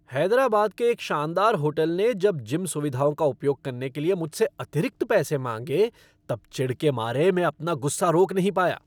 हैदराबाद के एक शानदार होटल ने जब जिम सुविधाओं का उपयोग करने के लिए मुझसे अतिरिक्त पैसे माँगे तब चिढ़ के मारे मैं अपना गुस्सा रोक नहीं पाया।